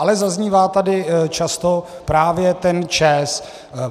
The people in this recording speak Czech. Ale zaznívá tady často právě ten ČEZ.